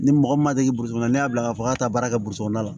Ni mɔgɔ min ma deli burusi kɔnɔ ne y'a bila ka fɔ k'a be taa kɛ kɔnɔ